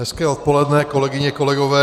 Hezké odpoledne, kolegyně, kolegové.